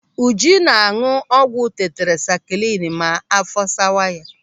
Uju ná-áñụ̀ ọgwụ tetrasakilini ma áfọ́ sawa ya.